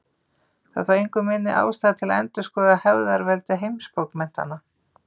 Það er þó engu minni ástæða til að endurskoða hefðarveldi heimsbókmenntanna.